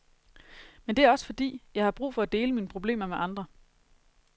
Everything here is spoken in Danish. Men det er også fordi, jeg har brug for at dele mine problemer med andre.